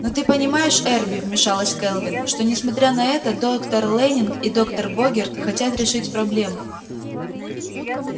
но ты понимаешь эрби вмешалась кэлвин что несмотря на это доктор лэннинг и доктор богерт хотят решить проблему